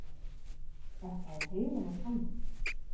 Þetta er heilagur sannleikur.